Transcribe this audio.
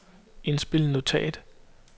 indspil notat